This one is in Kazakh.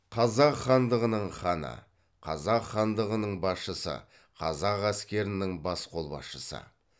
қазақ хандығының ханы қазақ хандығының басшысы қазақ әскерінің бас қолбасшысы